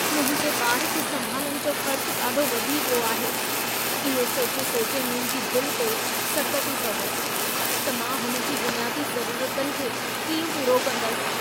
मुंहिंजे ॿार खे संभालण जो ख़र्च ॾाढो वधी वियो आहे। इहो सोचे सोचे मुंहिंजी दिलि ते सट थी पवे त मां हुन जी बुनियादी ज़रूरतुनि खे कीअं पूरो कंदुसि।